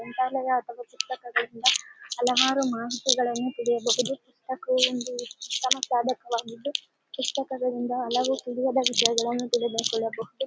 ಗ್ರಂಥಾಲಯದ ಪುಸ್ತಕಗಳಿಂದ ಹಲವಾರು ಮಾಹಿತಿಗಳನ್ನು ತಿಳಿಯಬಹುದು ಮತ್ತು ಒಂದು ಪುಸ್ತಕಗಳಿಂದ ಹಲವು ತಿಳಿದುಕೊಳ್ಳಬಹುದು